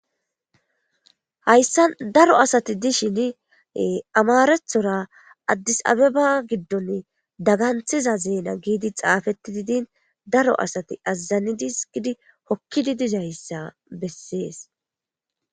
Hayssa daro asati dishin amarethora addis abeba giddon daganthiza zeena giidi xaafetti diidin daro asati azazanidis gidi hokkidi dizayssa bessees.